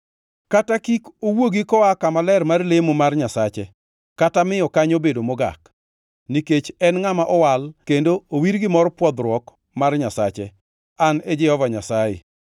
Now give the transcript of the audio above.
kata kik owuogi koa kama ler mar lemo mar Nyasache, kata miyo kanyo bedo mogak, nikech en ngʼama owal kendo owir gi mor pwodhruok mar Nyasache. An e Jehova Nyasaye.